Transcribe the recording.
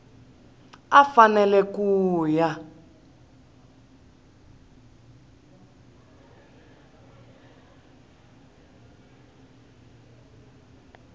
a a fanele ku ya